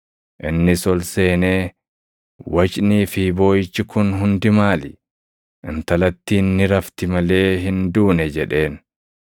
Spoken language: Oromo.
Innis ol seenee, “Wacnii fi booʼichi kun hundi maali? Intalattiin ni rafti malee hin duune” jedheen.